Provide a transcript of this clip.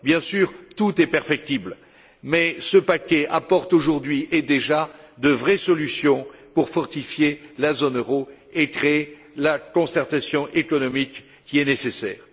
Bien sûr, tout est perfectible, mais ce paquet apporte d'ores et déjà de vraies solutions pour fortifier la zone euro et créer la concertation économique nécessaire.